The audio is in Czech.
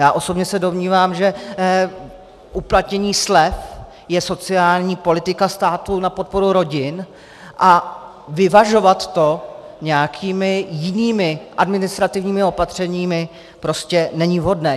Já osobně se domnívám, že uplatnění slev je sociální politika státu na podporu rodin a vyvažovat to nějakými jinými administrativními opatřeními prostě není vhodné.